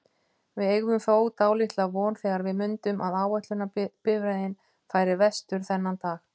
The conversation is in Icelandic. Við eygðum þó dálitla von þegar við mundum að áætlunarbifreiðin færi vestur þennan dag.